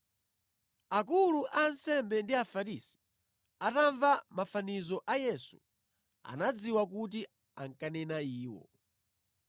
Akulu a ansembe ndi Afarisi atamva mafanizo a Yesu, anadziwa kuti ankanena iwo.